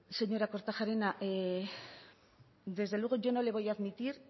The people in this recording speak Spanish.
señora kortajarena desde luego yo no le voy a admitir